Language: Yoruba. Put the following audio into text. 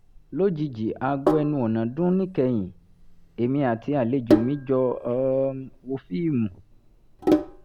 lójijì aago ẹnu ọ̀nà dún níkẹyìn èmi àti àlejò mi jọ um wo fíìmù